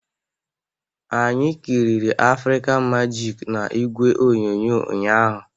Anyị kịrịrị African Majik na igwe onyonyo ụnyahụ